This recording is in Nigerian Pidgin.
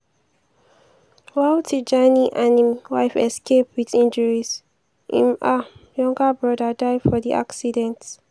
while tijani and im wife escape wit injuries im um younger brother die for di accident.